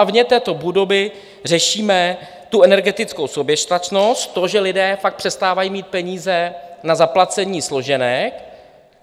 A vně této budovy řešíme tu energetickou soběstačnost, to, že lidé fakt přestávají mít peníze na zaplacení složenek.